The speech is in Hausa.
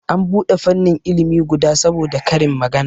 An bude fannin ilimi guda saboda karin magana